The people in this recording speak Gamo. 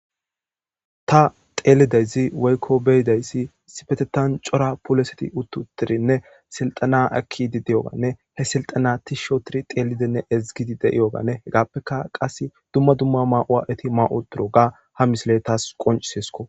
Haysan betizaysi cora asati uti utidine silxena ekidi diyogane he silxena tish oothidine xelidi ezgidi diyogane hegafeka dumma dumma mayo mayidoga ha misiley qoncises